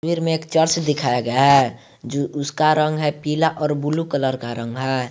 में एक चर्च दिखाया गया है उसका रंग है पीला और ब्लू कलर का रंग है।